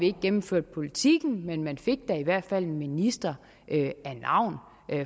ikke gennemførte politikken men man fik da i hvert fald en minister af navn